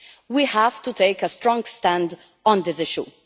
We have to take a strong stand on this issue.